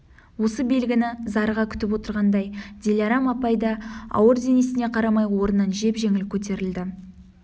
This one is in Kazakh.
осы белгіні зарыға күтіп отырғандай дилярам апай да ауыр денесіне қарамай орнынан жеп-жеңіл көтерілді